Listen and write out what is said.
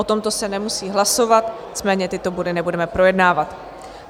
O tomto se nemusí hlasovat, nicméně tyto body nebudeme projednávat.